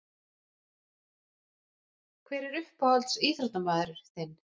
Hver er uppáhalds íþróttamaður þinn?